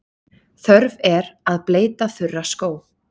Þörf er að bleyta þurra skó.